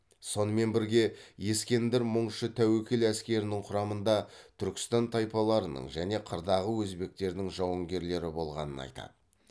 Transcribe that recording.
сонымен бірге ескендір мұңшы тәуекел әскерінің құрамында түркістан тайпаларының және қырдағы өзбектердің жауынгерлері болғанын айтады